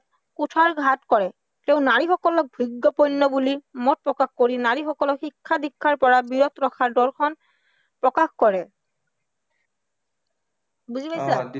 কুঠাৰঘাত কৰে, তেও নাৰীসকলক ভোগ্য় পণ্য় বুলি মত প্ৰকাশ কৰি নাৰীসকলক শিক্ষা-দীক্ষাৰ পৰা বিৰত ৰখাৰ দৰ্শন প্ৰকাশ কৰে, বুজি পাইছা ?